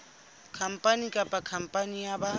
khampani kapa khampani ya ba